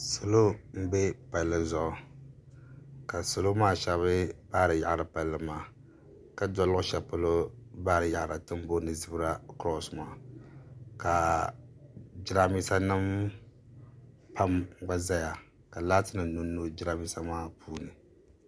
Salo mbɛ palli zuɣu ka salo maa shɛba baari yaɣiri palli maa ka doli luɣi shɛli polo baari yaɣi ra tini boli shɛli zibira kurɔsi maa ka jiranbesa nima pam gba zaya ka laati nima nyo nyo jiranbesa maa puuni.